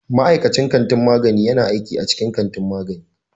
Ma'aikacin kantin magani yana aiki a cikin kantin magani